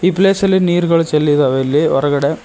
Place ಅಲ್ಲಿ ನೀರುಗಳು ಚೆಲ್ಲಿದಾಗ ಇಲ್ಲಿ ಹೊರಗಡೆ.